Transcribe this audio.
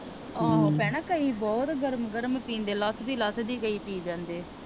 ਆਹੋ ਭੈਣੇ ਕਈ ਬਹੁਤ ਗਰਮ ਗਰਮ ਪੀਂਦੇ ਲੱਥਦੀ ਲੱਥਦੀ ਕਈ ਪੀ ਜਾਂਦੇ ਆ